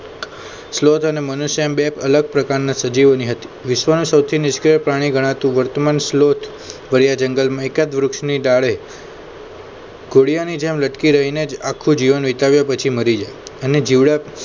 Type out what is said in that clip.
સ્લોત અને મનુષ્ય બે અલગ પ્રકારના સજીવોની હતી. વિસ્વાસ સૌથી નિષ્ક્રિય પ્રાણી ગણાતું વર્તમાન સ્લોત ભર્યા જંગલમાં એકાદ વૃક્ષની ડાળે કોડિયાની જેમ લટકી રહીને જ આખો જીવન વિતાવ્યો પછી મરી જાય અને જીવડા